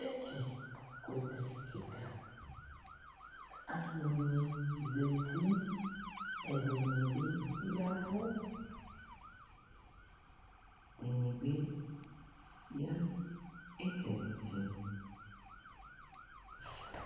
Tsɔtsɩkʋtɛ kɩka Alʋnɩ zati, ɛdɩnɩ bɩ ya ɛvʋ, ɛdɩnɩ bɩ ya nʋ ɩtsɛdɩ-tsɛdɩ